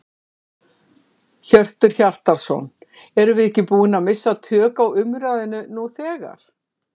Hjörtur Hjartarson: Erum við ekki búin að missa tök á umræðunni nú þegar?